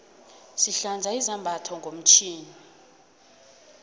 sihlanza izambatho ngomtjhini